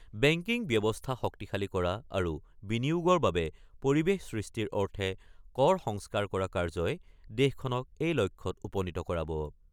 Banking ব্যৱস্থা শক্তিশালী কৰা আৰু বিনিয়োগৰ বাবে পৰিৱেশ সৃষ্টিৰ অৰ্থে কৰ সংস্কাৰ কৰা কাৰ্যই দেশখনক এই লক্ষ্যত উপনীত কৰাব।